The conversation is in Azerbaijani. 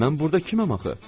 Mən burda kiməm axı?